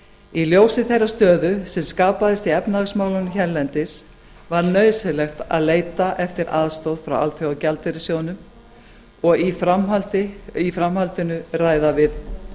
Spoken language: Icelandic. í ljósi þeirrar stöðu sem skapaðist í efnahagsmálunum hérlendis var nauðsynlegt að leita eftir aðstoð frá alþjóðagjaldeyrissjóðnum og í framhaldinu ræða við